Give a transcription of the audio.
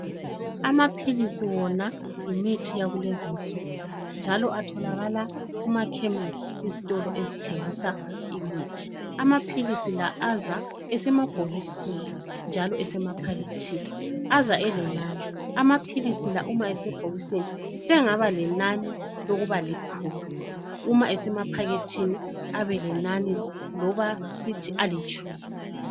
Amaphilisi wona yimithi yakulezi nsuku, njalo atholakala kumakhemisi izitolo ezithengisa imithi. Amaphilisi la aza esemabhokisini, njalo esemaphakethini. Aza elenani, amaphilisi la uma esebhokisini sengaba lenani lokubalikhulu. Uma esemaphakethini abelenani loba sithi alitshumi.